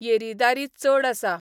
येरीदारी चड आसा